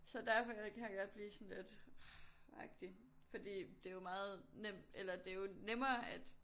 Så derfor kan jeg godt blive sådan lidt ah agtig fordi det jo meget nemt eller det jo nemmere at